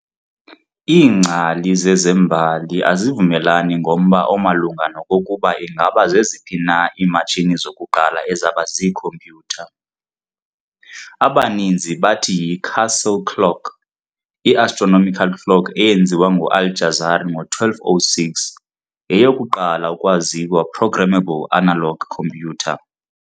Iingcali zezembali azivumelani ngomba omalunga nokokuba ingaba zeziphi na iimatshini zokuqala ezaba z "iikhompyutha". Abaninzi bathi y"i-castle clock", i-astronomical clock eyenziwa ngu-Al-Jazari ngo-1206, yeyokuqala ukwaziwa programmable analog computer.